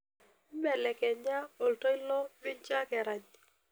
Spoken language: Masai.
mbelekanya oltoilo minjo ake erany